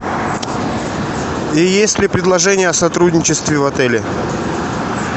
есть ли предложения о сотрудничестве в отеле